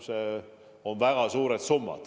See on väga suur summa.